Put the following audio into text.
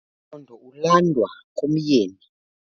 Umkhondo ulandwa kumyeni.